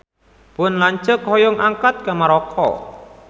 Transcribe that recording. Pun lanceuk hoyong angkat ka Maroko